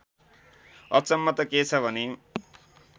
अचम्म त के छ भने